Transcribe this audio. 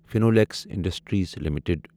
Finolex Industries limited